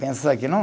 Pensar que não?